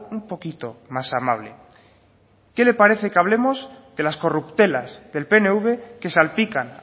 un poquito más amable qué le parece que hablemos de las corruptelas del pnv que salpican